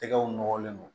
Tɛgɛw nɔlen don